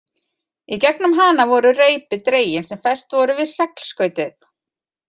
Í gegnum hana voru reipi dregin sem fest voru við seglskautið.